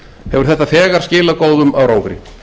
hefur þetta þegar skilað góðum árangri